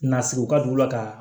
Nasiriw ka don la ka